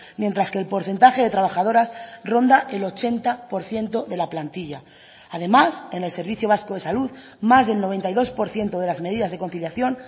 mientras que el porcentaje de trabajadoras ronda el ochenta por ciento de la plantilla además en el servicio vasco de salud más del noventa y dos por ciento de las medidas de conciliación